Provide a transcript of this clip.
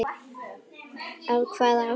Af hvaða ástæðu?